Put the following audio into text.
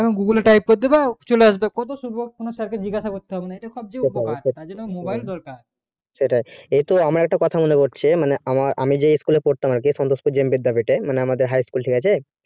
যেমন google type করে দেবা চলে আসবে কত সুযোগ কোনো sir কে জিজ্ঞাসা করতে হবেনা ইটা সবচেয়ে উপকার তার জন্যে mobile দরকার সেটাই এই তো আমার একটা কথা মনে পড়ছে মানে আ আমি যে সন্তোষপুর JM বিদ্যাপিঠ এ মানে আমাদের high school ঠিক আছে